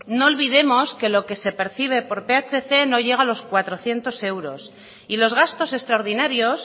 no olvidemos que lo que se percibe por phc no llega a los cuatrocientos euros y los gastos extraordinarios